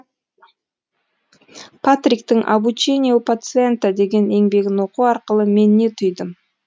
патриктың обучение у пациента деген еңбегін оқу арқылы мен не түйдім